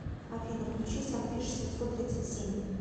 афина включи санфиш семьсот тридцать семь